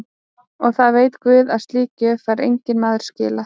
Og það veit guð að slíkri gjöf fær enginn maður skilað.